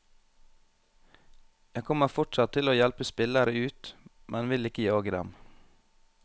Jeg kommer fortsatt til å hjelpe spillere ut, men vil ikke jage dem.